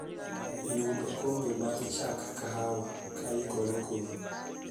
yud okombe mar chach kahawa koikore koro